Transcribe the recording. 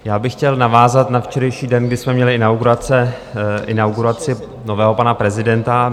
Já bych chtěl navázat na včerejší den, kdy jsme měli inauguraci nového pana prezidenta.